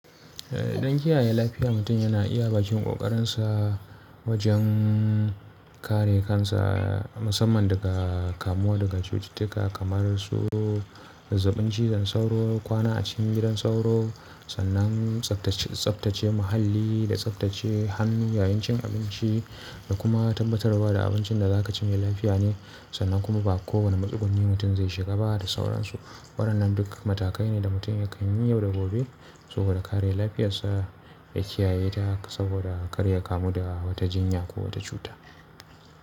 Eh don kiyaye lafiya mutum yana iya bakin ƙoƙarinsa wajen kare kansa musamman daga kamuwa daga cututtuka kamar su zazzabin cizon sauro, kwana a cikin gidan sauro, sannan tsabtace, tsabtace muhalli da tsabtace hannu yayin cin abinci da kuma tabbatarwa da abincin da za ka ci mai lafiya ne sannan kuma ba kowane matsuguni mutum zai shiga ba da sauransu. Waɗannan duk matakai ne da mutum ya kan yi yau da gobe saboda kare lafiyarsa ya kiyaye ta saboda kar ya kamu da wata jinya ko wata cuta.